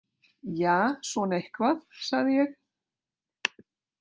Ja, svona eitthvað, sagði ég.